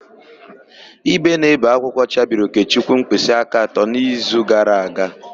Ígwè na-ébè akwụkwọ chabiri Okechukwu mkpịsịaka atọ n'izu gara aga.